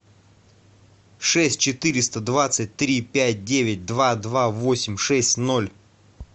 шесть четыреста двадцать три пять девять два два восемь шесть ноль